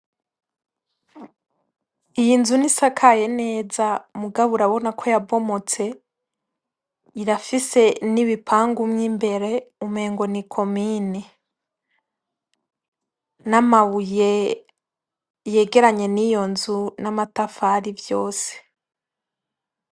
Iyi nzu ntisakaye neza mugabo urabonako yabomotse, irafise nibipangu mwimbere umengo nikomine, n'amabuye yegeranye niyo nzu n'amatafari vyose.